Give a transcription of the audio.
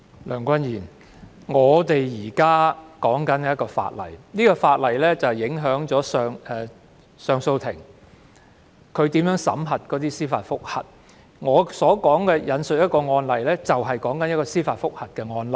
梁君彥，我們現正談論的《條例草案》，會影響上訴法庭如何審議司法覆核的申請，我想引述的案例正正是司法覆核的案例。